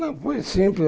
Não, foi simples.